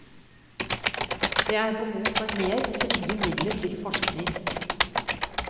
Det er behov for mer frie midler til forskning.